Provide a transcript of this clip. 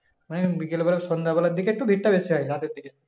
মানে বিকেলবেলা সন্ধ্যেবেলার দিকে একটু ভিড় টা একটু বেশি হয় রাতের দিকে